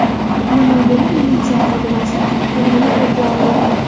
Namanganda militsiya xodimasi o‘g‘rini qo‘lga oldi.